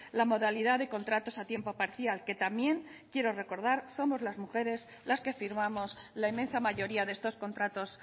la modalidad de contratos a tiempo parcial que también quiero recordar somos las mujeres las que firmamos la inmensa mayoría de estos contratos